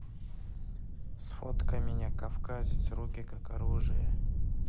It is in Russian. сфоткай меня кавказец руки как оружие